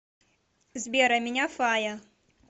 сбер а меня фая